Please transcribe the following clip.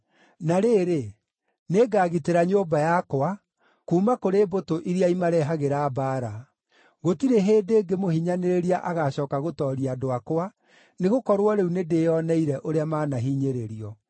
Na rĩrĩ, nĩngagitĩra nyũmba yakwa kuuma kũrĩ mbũtũ iria imarehagĩra mbaara. Gũtirĩ hĩndĩ ĩngĩ mũhinyanĩrĩria agaacooka gũtooria andũ akwa, nĩgũkorwo rĩu nĩndĩĩoneire ũrĩa maanahinyĩrĩrio.